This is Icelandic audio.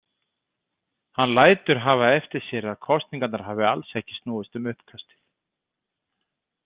Hann lætur hafa eftir sér að kosningarnar hafi alls ekki snúist um uppkastið.